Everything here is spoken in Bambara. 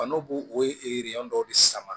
Fando bo o ye dɔw de sama